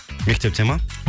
мектепте ма